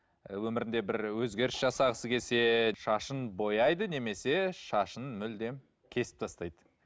ы өмірінде бір өзгеріс жасағысы келсе шашын бояйды немесе шашын мүлдем кесіп тастайды